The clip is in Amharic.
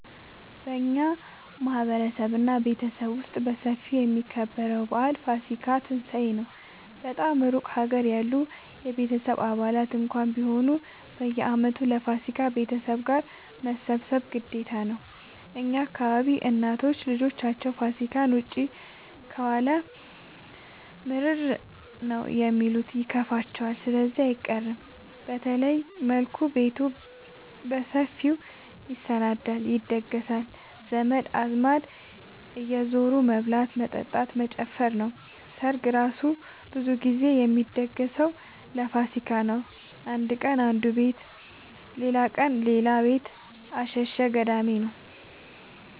በእኛ ማህበረሰብ እና ቤተሰብ ውስጥ በሰፊው የሚከበረው በአል ፋሲካ(ትንሳኤ) ነው። በጣም እሩቅ ሀገር ያሉ የቤተሰብ አባላት እንኳን ቢሆኑ በየአመቱ ለፋሲካ ቤተሰብ ጋር መሰብሰብ ግዴታ ነው። የእኛ አካባቢ እናቶች ልጃቸው ፋሲካን ውጪ ከዋለ ምርር ነው የሚሉት ይከፋቸዋል ስለዚህ አይቀርም። በተለየ መልኩ ቤቱ በሰፊው ይሰናዳል(ይደገሳል) ዘመድ አዝማድ እየዙሩ መብላት መጠጣት መጨፈር ነው። ሰርግ እራሱ ብዙ ግዜ የሚደገሰው ለፋሲካ ነው። አንድ ቀን አነዱ ቤት ሌላቀን ሌላ ቤት አሸሸ ገዳሜ ነው።